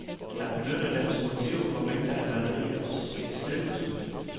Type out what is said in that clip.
Han benyttede dem som motiver for mængder af malerier og silketryk.